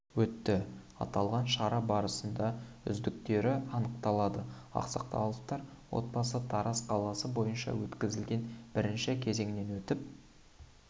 өтті аталған шара барысында үздіктері анықталды ақсақаловтар отбасы тараз қаласы бойынша өткізілген бірінші кезеңнен өтіп